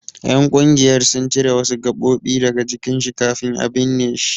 Ƴan ƙungiyar sun cire wasu gaɓoɓi daga jikin shi kafin a binne shi.